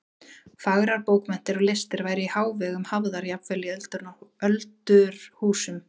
Fagrar bókmenntir og listir væru í hávegum hafðar jafnvel í öldurhúsum.